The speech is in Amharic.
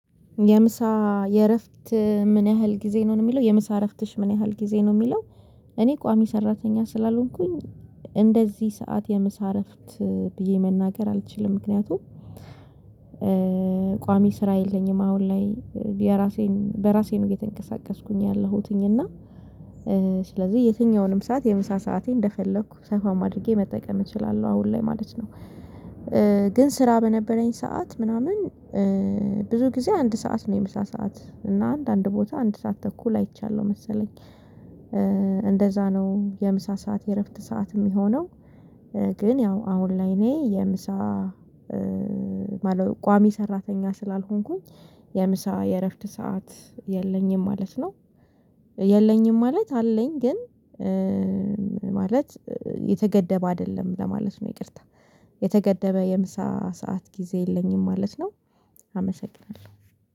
የምሳ የእረፍት ምን ያህል ጊዜ ነው የሚለው የምሳ እረፍትሽ ምን ያህል ጊዜ ነው የሚለው? እኔ ቋሚ ሰራተኛ ስላልሆንኩኝ እንደዚህ ሰዓት የምስ እረፍት ብዬ መናገር አልችልም። ምክንያቱም ቋሚ ስራ የለኝም። አሁን ላይ የራሴን በራሴ ነው እየተንቀሳቀስኩኝ ያለሁት እና ስለዚህ የትኛውንም ሰዓት የምሳ ሰዓቴ እንደፈለኩ ሳፋም አድርጌ መጠቀም እችላለሁ አሁን ላይ ማለት ነው። ግን ስራ በነበረኝ ሰዓት ምናምን ብዙ ጊዜ አንድ ሰዓት ነው የምሳ ሰዓት እና አንድ አንድ ቦታ አንድ ሰዓት ተኩል አይቻለሁ መሰለኝ። እንደዚያ ነው የምሳ ሰዓት የእረፍት ሰዓት የሚሆነው። ግን ያው አሁን ላይ እኔ የምሳ ቋሚ ሰራተኛ ስላልሆንኩኝ የምሳ የእረፍት ሰዓት የለኝም ማለት ነው። የለኝም ማለት አለኝ ግን ማለት የተገደበ አይደለም ለማለት ነው። ይቅርታ የተገደበ የምሳ ሰዓት ጊዜ የለኝም ማለት ነው። አመሰግናለሁ